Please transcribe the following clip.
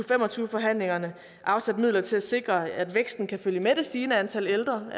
fem og tyve forhandlingerne har afsat midler til sikre at væksten kan følge med det stigende antal ældre